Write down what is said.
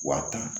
Wa tan